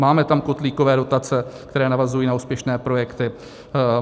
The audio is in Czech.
Máme tam kotlíkové dotace, které navazují na úspěšné projekty.